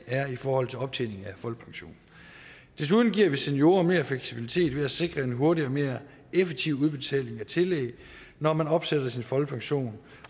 er i forhold til optjening af folkepension 3 vi giver seniorer mere fleksibilitet ved at sikre en hurtigere og mere effektiv udbetaling af tillæg når man opsætter sin folkepension